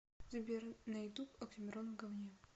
сбер на ютуб оксимирон в говне